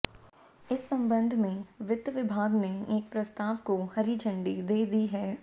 इस संबंध में वित्त विभाग ने एक प्रस्ताव को हरी झंडी दे दी है